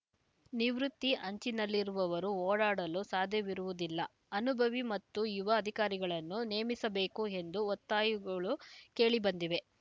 ನಿವೃತ್ತಿ ಅಂಚಿನಲ್ಲಿರುವವರು ಓಡಾಡಲು ಸಾಧ್ಯವಿರುವುದಿಲ್ಲ ಅನುಭವಿ ಮತ್ತು ಯುವ ಅಧಿಕಾರಿಗಳನ್ನು ನೇಮಿಸಬೇಕು ಎಂದು ಒತ್ತಾಯುಗಳು ಕೇಳಿಬಂದಿವೆ